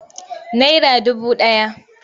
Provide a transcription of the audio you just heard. Naira dubu ɗaya.